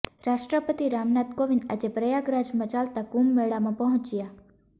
રાષ્ટ્રપતિ રામનાથ કોવિંદ આજે પ્રયાગરાજમાં ચાલતા કુંભ મેળામાં પહોંચ્યા